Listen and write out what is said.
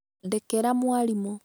ndekera mwarimũ